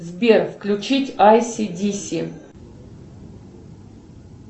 сбер включить ай си ди си